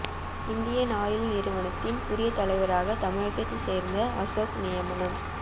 Indian Oil நிறுவனத்தின் புதிய தலைவராக தமிழகத்தைச் சேர்ந்த அசோக் நியமனம்